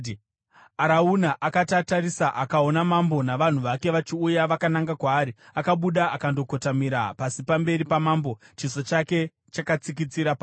Arauna akati atarisa akaona mambo navanhu vake vachiuya vakananga kwaari, akabuda akandokotamira pasi pamberi pamambo chiso chake chakatsikitsira pasi.